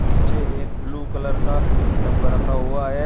नीचे एक blue colour का डब्बा रखा हुआ है।